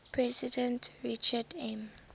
president richard m